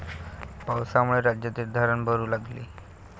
पावसामुळे राज्यातील धरणं भरू लागली...